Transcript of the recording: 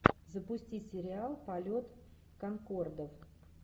запусти сериал полет конкордов